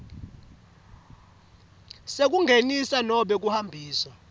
sekungenisa nobe kuhambisa